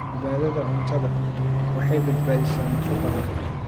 Badbaadada cuntadu waxay badbaadisaa nafo badan.